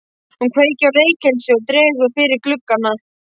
Hún kveikir á reykelsi og dregur fyrir gluggana.